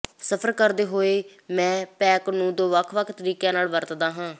ਸਫਰ ਕਰਦੇ ਹੋਏ ਮੈਂ ਪੈਕ ਨੂੰ ਦੋ ਵੱਖ ਵੱਖ ਤਰੀਕਿਆਂ ਨਾਲ ਵਰਤਦਾ ਹਾਂ